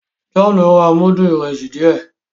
John ń rà mudu Ìrẹsí díẹ